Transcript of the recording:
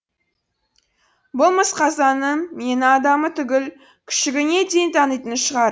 бұл мысқазаның мені адамы түгіл күшігіне дейін танитын шығар